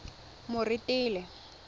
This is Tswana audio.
moretele